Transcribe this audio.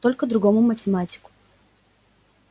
только другому математику